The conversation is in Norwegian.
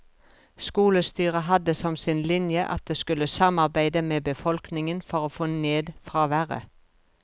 Skolestyret hadde som sin linje at det skulle samarbeide med befolkningen for å få ned fraværet.